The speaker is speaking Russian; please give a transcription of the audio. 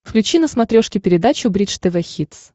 включи на смотрешке передачу бридж тв хитс